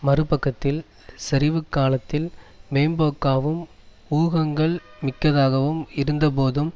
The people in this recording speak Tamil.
மறுபக்கத்தில் சரிவுக் காலத்தில் மேம்போக்காவும் ஊகங்கள் மிக்கதாகவும் இருந்தபோதும்